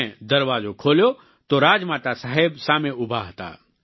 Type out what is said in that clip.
મેં દરવાજો ખોલ્યો તો રાજમાતા સાહેબ સામે ઉભા હતા